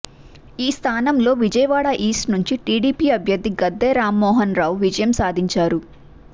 ఈ స్థానంలో విజయవాడ ఈస్ట్ నుండి టీడీపీ అభ్యర్ధి గద్దె రామ్మోహన్ రావు విజయం సాధించారు